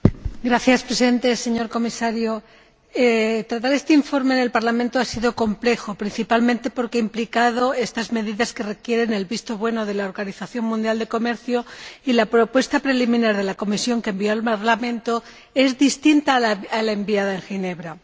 Señor Presidente, señor Comisario, tratar este informe del Parlamento ha sido complejo, principalmente porque ha implicado estas medidas que requieren el visto bueno de la Organización Mundial del Comercio, y así, la propuesta preliminar que la Comisión envió al Parlamento es distinta a la enviada a Ginebra.